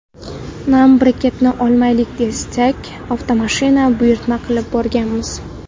Nam briketni olmaylik desak, avtomashina buyurtma qilib borganmiz.